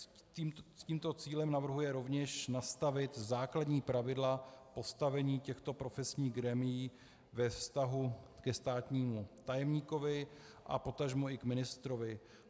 S tímto cílem navrhuje rovněž nastavit základní pravidla postavení těchto profesních grémií ve vztahu ke státnímu tajemníkovi a potažmo i k ministrovi.